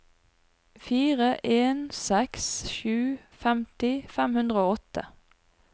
fire en seks sju femti fem hundre og åtte